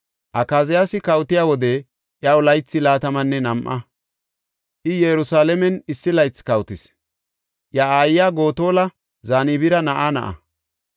Akaziyaasi kawotiya wode iyaw laythi laatamanne nam7a. I Yerusalaamen issi laythi kawotis; iya aayiya Gotola, Zanbira na7aa na7a.